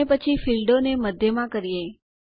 અને પછી ફીલ્ડોને મધ્યમાં કરીએ